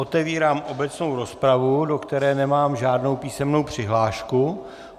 Otevírám obecnou rozpravu, do které nemám žádnou písemnou přihlášku.